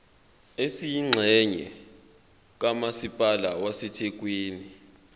esiyingxenye kamasipala wasethekwini